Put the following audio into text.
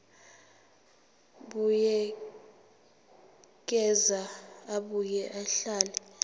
buyekeza abuye ahlele